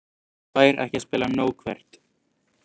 Fær ekki að spila nóg Hvert?